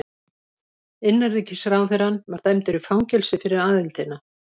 Innanríkisráðherrann var dæmdur í fangelsi fyrir aðildina.